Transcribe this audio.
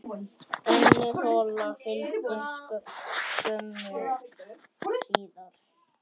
Önnur hola fylgdi skömmu síðar.